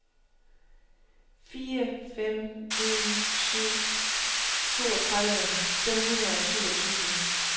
fire fem en syv toogtredive fem hundrede og syvogtyve